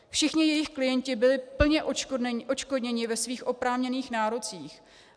Všichni jejich klienti byli plně odškodněni ve svých oprávněných nárocích.